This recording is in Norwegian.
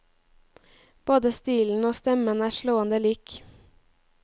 Både stilen og stemmen er slående lik.